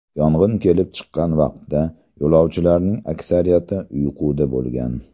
Yong‘in kelib chiqqan vaqtda yo‘lovchilarning aksariyati uyquda bo‘lgan .